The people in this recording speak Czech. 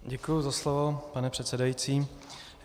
Děkuji za slovo, pane předsedající.